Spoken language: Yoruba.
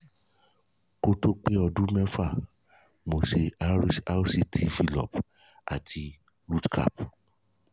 kó tó pé ọdún mẹ́fà mo ṣe rct fillup ati rootcap